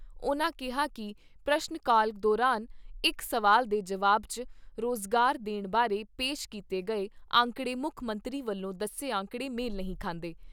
ਉਨ੍ਹਾਂ ਕਿਹਾ ਕਿ ਪ੍ਰਸ਼ਨ ਕਾਲ ਦੌਰਾਨ ਇਕ ਸਵਾਲ ਦੇ ਜਵਾਬ 'ਚ ਰੁਜ਼ਗਾਰ ਦੇਣ ਬਾਰੇ ਪੇਸ਼ ਕੀਤੇ ਗਏ ਅੰਕੜੇ ਮੁੱਖ ਮੰਤਰੀ ਵੱਲੋਂ ਦੱਸੇ ਅੰਕੜੇ ਮੇਲ ਨਹੀਂ ਖਾਂਦੇ।